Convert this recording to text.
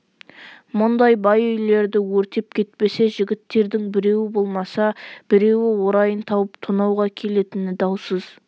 мұндай бай үйлерді өртеп кетпесе жігіттердің біреуі болмаса біреуі орайын тауып тонауға келетіні даусыз